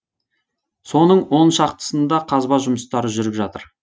соның он шақтысында қазба жұмыстары жүріп жатыр